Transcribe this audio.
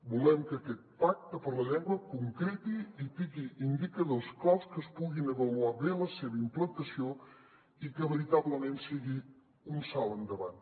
volem que aquest pacte per la llengua concreti i tingui indicadors claus que es pugui avaluar bé la seva implantació i que veritablement sigui un salt endavant